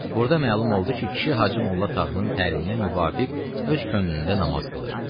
Burda məlum oldu ki, kişi Hacı Molla Tağının təliminə müvafiq öz könlündə namaz qılır.